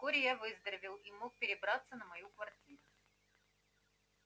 вскоре я выздоровел и мог перебраться на мою квартиру